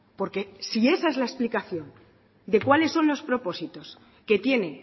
porque si esa es la explicación de cuáles son los propósitos que tiene